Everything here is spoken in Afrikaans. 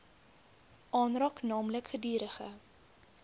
aanraak naamlik gedurige